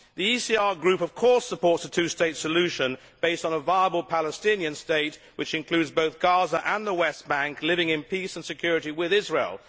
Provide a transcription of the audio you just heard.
The ECR Group of course supports a two state solution based on a viable Palestinian state which includes both Gaza and the West Bank living in peace and security with Israel.